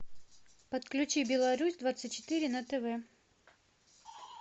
подключи белорусь двадцать четыре на тв